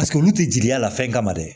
Paseke olu tɛ jigiya a la fɛn kama dɛ